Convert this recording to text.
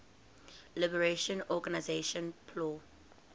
liberation organization plo